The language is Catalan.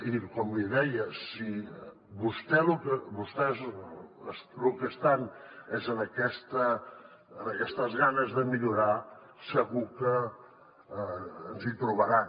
i com li deia si vostès lo que estan és en aquestes ganes de millorar segur que ens hi trobaran